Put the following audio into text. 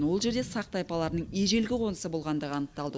ол жерде сақ тайпаларының ежелгі қонысы болғандығы анықталды